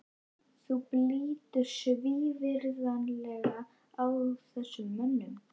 Þú brýtur svívirðilega á þessum mönnum!